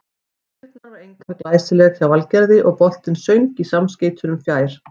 Spyrnan var einkar glæsileg hjá Valgerði og boltinn söng í samskeytunum fjær.